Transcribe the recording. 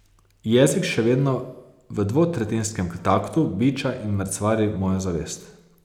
Jezik še vedno v dvotretjinskem taktu biča in mrcvari mojo zavest.